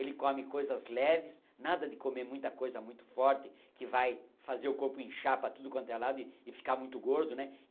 Ele come coisas leves, nada de comer muita coisa muito forte que vai fazer o corpo inchar para tudo quanto é lado e ficar muito gordo, né?